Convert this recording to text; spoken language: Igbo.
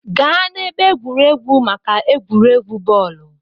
Gaa n'ebe egwuregwu maka egwuregwu bọọlụ!